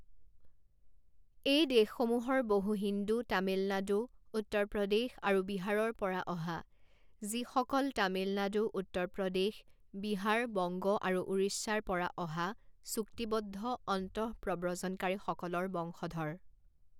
এই দেশসমূহৰ বহু হিন্দু তামিলনাডু, উত্তৰ প্ৰদেশ, আৰু বিহাৰৰ পৰা অহা, যিসকল তামিলনাডু, উত্তৰ প্ৰদেশ, বিহাৰ, বংগ, আৰু উৰিষ্যাৰ পৰা অহা চুক্তিবদ্ধ অন্তঃপ্ৰব্ৰজনকাৰীসকলৰ বংশধৰ।